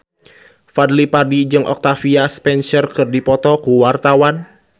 Fadly Padi jeung Octavia Spencer keur dipoto ku wartawan